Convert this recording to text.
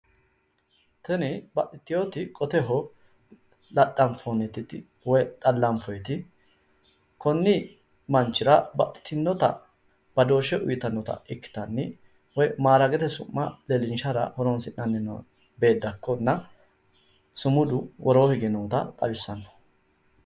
Tini baxxiteyooti qoteho laxxanfoyiisiti woy xallanfoyyiti konni manchira baxxitinnota badooshshe uyiitannota ikkitanni woy maalalete su'ma leellinshara horonsi'nanni beeddakko ikkitanna sumudu woroo hige noota xawissanno